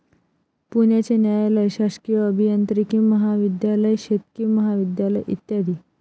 पुण्याचे न्यायालय, शासकीय अभियांत्रिकी महाविध्यालय, शेतकी महाविध्यालय, इ.